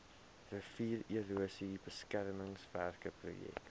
riviererosie beskermingswerke projek